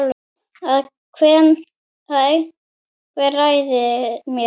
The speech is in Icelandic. Að einhver ræni mér.